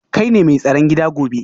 Kai ne mai tsaron gida gobe